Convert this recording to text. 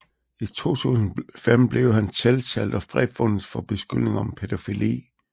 I 2005 blev han tiltalt og frifundet for beskyldninger om pædofili